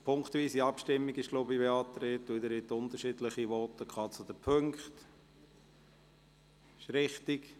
Ich glaube, eine punktweise Abstimmung ist beantragt, denn Sie haben unterschiedliche Voten zu den Punkten gehalten.